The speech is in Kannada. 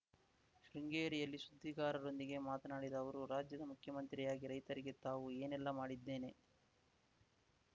ಶೃಂಗೇರಿಯಲ್ಲಿ ಸುದ್ದಿಗಾರರೊಂದಿಗೆ ಮಾತನಾಡಿದ ಅವರು ರಾಜ್ಯದ ಮುಖ್ಯಮಂತ್ರಿಯಾಗಿ ರೈತರಿಗೆ ತಾವು ಏನೆಲ್ಲಾ ಮಾಡಿದ್ದೇನೆ